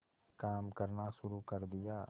काम करना शुरू कर दिया